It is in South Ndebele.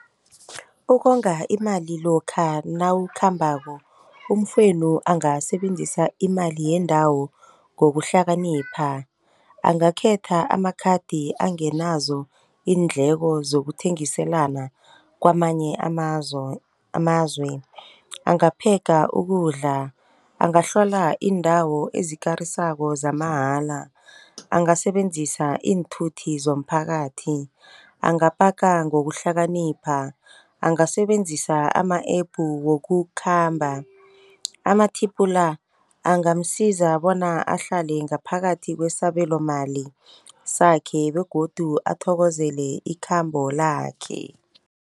Ukonga imali lokha nawukhambako umfowenu angasebenzisa imali yendawo ngokuhlakanipha. Angakhetha amakhathi angenazo iindleko zokuthengiselana kwamanye amazwe. Anga-packer ukudla, angahlola iindawo ezikarisako zamahala. Angasebenzisa iinthuthi zomphakathi, angapaka ngokuhlakanipha, angasebenzisa ama-app wokukhamba. Ama-tip la angamsiza bona ahlale ngaphakathi kwesabelomali sakhe begodu athokozele ikhambo lakhe.